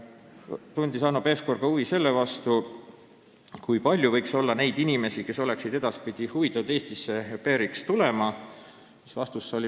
Hanno Pevkur tundis huvi ka selle vastu, kui palju võiks olla neid inimesi, kes oleksid edaspidi huvitatud Eestisse au pair'iks tulekust.